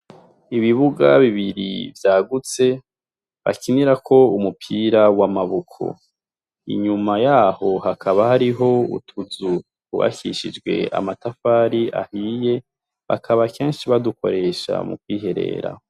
Ibibuga bibiri vyagutse bakinira ko umupira w'amaboko. Inyuma yaho hakaba hariho utuzu twubakishijwe amatafari ahiye, bakaba kenshi badukoresha mu kwiherera.